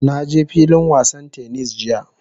Na je filin wasan "tennis" jiya.